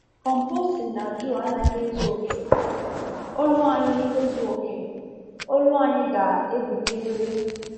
Composting na juu anaghị ezu oke—olu anyị ezu oke—olu anyị ga-ebilirịrị.